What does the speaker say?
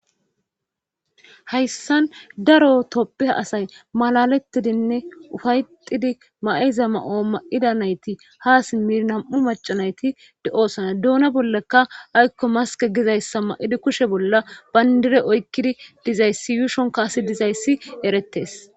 hayssan daro tophphiya asay malalettidinne ufaytidi ma7iza ma7o ma7ida nayti ha simmir nam7u macanayti de7osana duuna bollekka aykko maske gizayssa ma7idi kushe bolla bayndireoykkidi dizayssi yuushon kaasi dizayssi erettes